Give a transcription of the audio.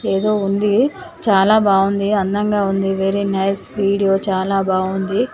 ఏదో ఉంది చాలా బాగుంది అందంగా ఉంది వెరీ నైస్ వీడియో చాలా బాగుంది .